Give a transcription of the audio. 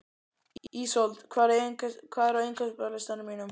Ísold, hvað er á innkaupalistanum mínum?